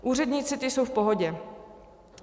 Úředníci, ti jsou v pohodě.